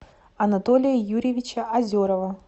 анатолия юрьевича озерова